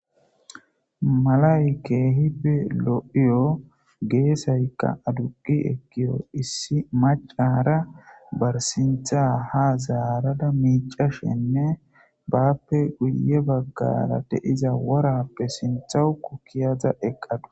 malay keehibe lo'iyo geesayka aduqi ekiyo issi macara bar sintha ha zaarada miicashenne baappe guye baggara deiza worappe sinthawu kukiyaza eqqadus.